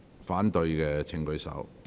反對的請舉手。